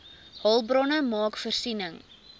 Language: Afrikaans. hulpbronne maak voorsiening